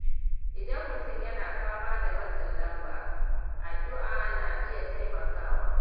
Idan mutum yana fama da matsin lamba, addu’a na iya taimakawa.